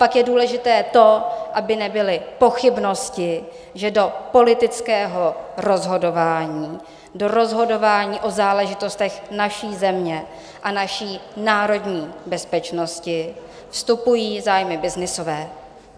Pak je důležité to, aby nebyly pochybnosti, že do politického rozhodování, do rozhodování o záležitostech naší země a naší národní bezpečnosti, nevstupují zájmy byznysové.